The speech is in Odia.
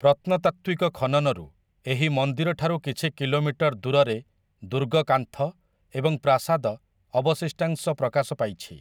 ପ୍ରତ୍ନତାତ୍ତ୍ୱିକ ଖନନରୁ ଏହି ମନ୍ଦିରଠାରୁ କିଛି କିଲୋମିଟର ଦୂରରେ ଦୁର୍ଗ କାନ୍ଥ ଏବଂ ପ୍ରାସାଦ ଅବଶିଷ୍ଟାଂଶ ପ୍ରକାଶ ପାଇଛି ।